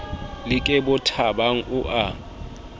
le ke bothabang o a